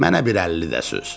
Mənə bir 50 də süz.